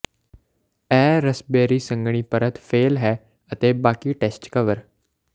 ਇਹ ਰਸਬੇਰੀ ਸੰਘਣੀ ਪਰਤ ਫੈਲ ਹੈ ਅਤੇ ਬਾਕੀ ਟੈਸਟ ਕਵਰ